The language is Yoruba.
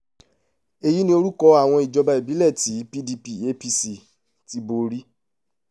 èyí ni orúkọ àwọn ìjọba ìbílẹ̀ tí pdp apc ti borí